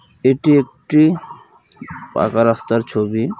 এটি একটি পাকা রাস্তার ছবি।